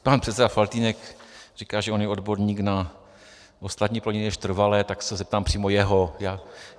Pan předseda Faltýnek říká, že on je odborník na ostatní plodiny než trvalé, tak se zeptám přímo jeho.